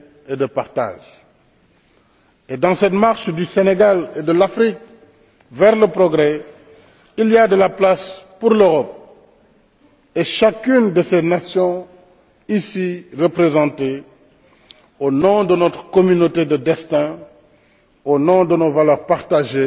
et de partage. Et dans cette marche du Sénégal et de l'Afrique vers le progrès, il y a de la place pour l'Europe et chacune de ses nations ici représentées, au nom de notre communauté de destin, au nom de nos valeurs partagées,